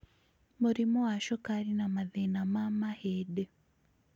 mũrimũ wa cukari, na mathĩna ma mahĩndĩ.